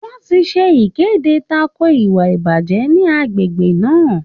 Wọ́n ti ṣe ìkéde tako ìwà ìbàjẹ́ ní agbègbè náà.